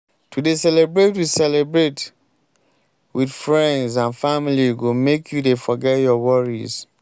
to dey celebrate wit celebrate wit friends and family go make you dey forget your worries.